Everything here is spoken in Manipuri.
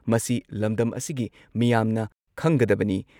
ꯃꯁꯤ ꯂꯝꯗꯝ ꯑꯁꯤꯒꯤ ꯃꯤꯌꯥꯝꯅ ꯈꯪꯒꯗꯕꯅꯤ ꯫